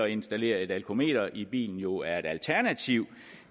installere et alkometer i bilen jo er et alternativ